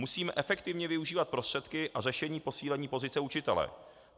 Musíme efektivně využívat prostředky a řešení posílení pozice učitele.